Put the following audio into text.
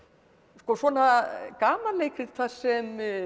svona gamanleikrit þar sem